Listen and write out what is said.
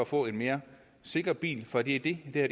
få en mere sikker bil for det er det det